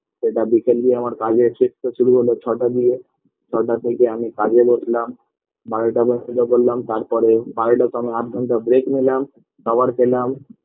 এটা বিকেল দিয়ে আমার কাজের shift -টা শুরু হলো ছটা দিয়ে ছটা থেকে আমি কাজে বসলাম বারোটা পর্যন্ত করলাম তারপরে বারোটার সময় আধঘণ্টা break নিলাম খাবার খেলাম